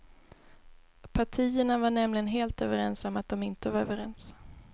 Partierna var nämligen helt överens om att de inte var överens.